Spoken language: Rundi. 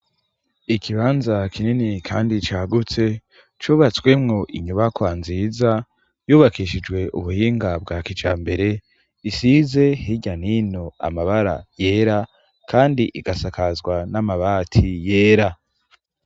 Ikibanza kinini kandi cagutse cubatswemwo inyubakwa nziza yubakishijwe ubuhinga bwa kijambere isize hirya nino amabara yera kandi igasakazwa n'amabati yera.